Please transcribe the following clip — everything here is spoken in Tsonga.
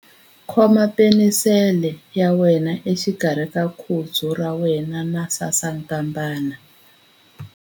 Khoma penisele ya wena exikarhi ka khudzu ra wena na sasankambana.